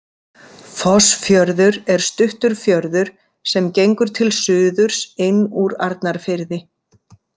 Fossfjörður er stuttur fjörður, sem gengur til suðurs inn úr Arnarfirði.